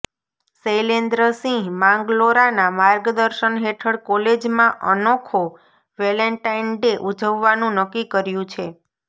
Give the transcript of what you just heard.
શૈલેન્દ્ર સિંહ માંગરોલાના માર્ગદર્શન હેઠળ કોલેજમા અનોખો વેલેન્ટાઇન ડે ઉજવવાનુ નક્કી કર્યુ છે